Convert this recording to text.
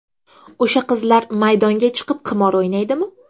O‘sha qizlar maydonga chiqib, qimor o‘ynaydimi?